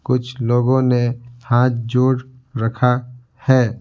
कुछ लोगों ने हाथ जोड़ रखा है ।